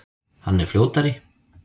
Hann er fljótari.